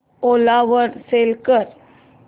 ओला वर सेल कर